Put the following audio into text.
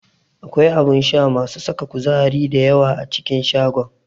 Akwai abun sha masu saka kuzari da yawa a cikin shagon.